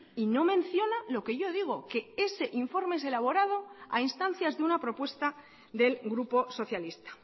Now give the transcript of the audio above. y no menciona lo que yo digo que ese informe es elaborado a instancias de una propuesta del grupo socialista